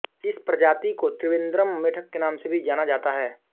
इस प्रजाति को त्रिवेंद्रम मेंढक के नाम से भी जाना जाता है